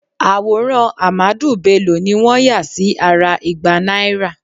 Àwòrán Ahmadu Bello ni wọ́n yà sí ara igba náírà